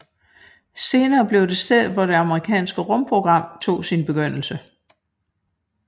Senere blev det stedet hvor det amerikanske rumprogram tog sin begyndelse